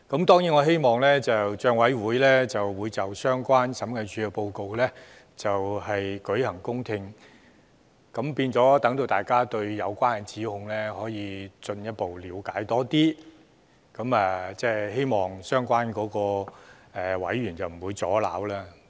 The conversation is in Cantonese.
當然我希望立法會政府帳目委員會會就審計署署長報告舉行公聽會，讓大家對有關的指控進一步了解，亦希望相關的委員不會阻撓。